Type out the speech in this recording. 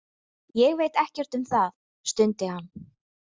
Ég veit ekkert um það, stundi hann.